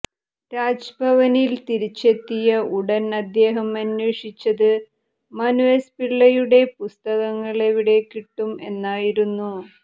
രാജ്ഭവനിൽ തിരിച്ചെത്തിയ ഉടൻ അദ്ദേഹം അന്വേഷിച്ചത് മനു എസ് പിള്ളയുടെ പുസ്തകങ്ങൾ എവിടെ കിട്ടും എന്നായിരുന്നു